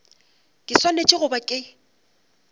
ke swanetše go ba ke